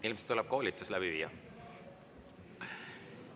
Ilmselt tuleb koolitus läbi viia.